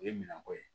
O ye minan ko ye